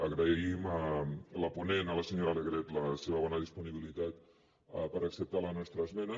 agraïm a la ponent la senyora alegret la seva bona disponibilitat per acceptar la nostra esmena